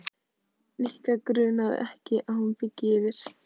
Nikka grunaði ekki að hún byggi yfir.